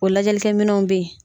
O lajɛlikɛ minɛnw be yen.